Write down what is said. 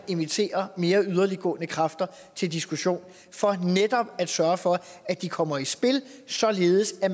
inviteres mere yderliggående kræfter til diskussion for netop at sørge for at de kommer i spil således at